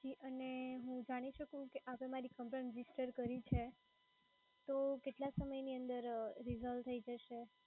જી અને હું જાણી શકું કે આપે મારી complain register કરી છે. તો કેટલા સમયની અંદર resolve થઈ જશે?